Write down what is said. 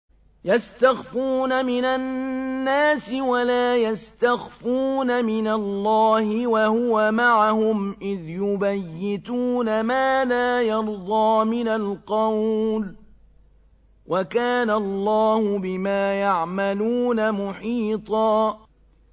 يَسْتَخْفُونَ مِنَ النَّاسِ وَلَا يَسْتَخْفُونَ مِنَ اللَّهِ وَهُوَ مَعَهُمْ إِذْ يُبَيِّتُونَ مَا لَا يَرْضَىٰ مِنَ الْقَوْلِ ۚ وَكَانَ اللَّهُ بِمَا يَعْمَلُونَ مُحِيطًا